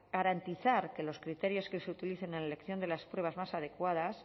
garantizar que los criterios que se utilicen en la elección de las pruebas más adecuadas